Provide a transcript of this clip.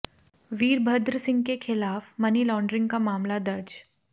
वीरभद्र सिंह के खिलाफ money laundering का मामला दर्ज